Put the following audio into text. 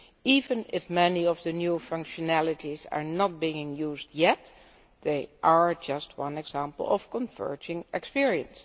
Even if many of the new functionalities are not being used yet, they are just one example of converging experience.